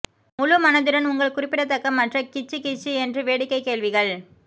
முழு மனதுடன் உங்கள் குறிப்பிடத்தக்க மற்ற கிச்சு கிச்சு என்று வேடிக்கை கேள்விகள்